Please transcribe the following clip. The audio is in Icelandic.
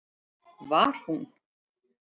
Var hún?!